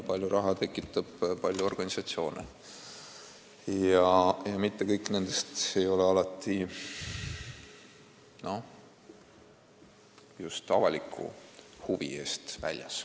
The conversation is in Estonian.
Palju raha tekitab palju organisatsioone ja mitte kõik nendest ei ole alati just avaliku huvi eest väljas.